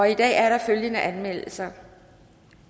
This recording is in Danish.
i dag er der følgende anmeldelser